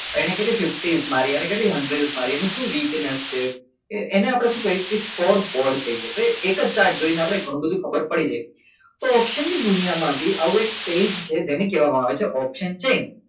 એણે કેટલી? પચાસ મારી એને કેટલી hundred મારી એને શું બિઝનેસ છે એને આપણે શું કહીએ કે સ્કોરબોર્ડ કહીએ તો એને એક જ ચાર્ટ જોઈને આપણે ઘણું બધું ખબર પડી જાય તો option ની દુનિયામાંથી આવું આવું એક પેજ છે જેને કહેવામાં આવે છે option change